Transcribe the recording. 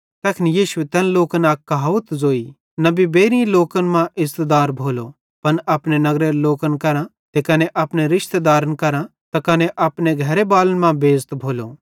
तैखन यीशुए तैन लोकन अक कहावत ज़ोई नबी बेइरींए लोकन मां इज़्ज़दार भोलो पन अपने नगरेरे लोकन केरां ते कने अपने रिश्तेदारन केरां त कने अपने घरेबालन मां बेइज़्ज़त भोलो